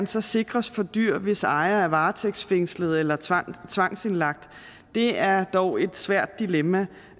så sikres for dyr hvis ejere er varetægtsfængslet eller tvangsindlagt er dog et svært dilemma